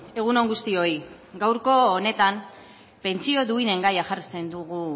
egun on guztioi gaurko honetan pentsio duinen gaia jartzen dugu